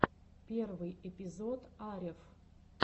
первый эпизод арев